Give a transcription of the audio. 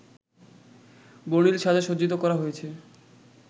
বর্ণিল সাজে সজ্জিত করা হয়েছে